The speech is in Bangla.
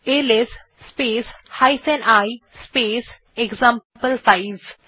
LS space i space এক্সাম্পল5